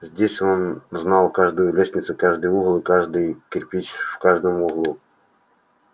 здесь он знал каждую лестницу каждый угол и каждый кирпич в каждом углу